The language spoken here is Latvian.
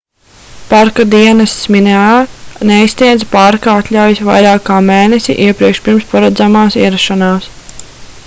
parka dienests minae neizsniedz parka atļaujas vairāk kā mēnesi iepriekš pirms paredzamās ierašanās